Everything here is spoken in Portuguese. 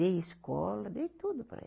Dei escola, dei tudo para eles.